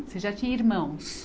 Você já tinha irmãos?